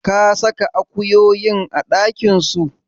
Ka saka akuyoyin a ɗakin su?